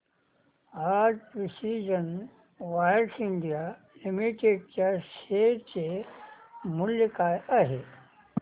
आज precision wires India limited च्या share चे मूल्य काय आहे